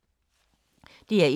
DR1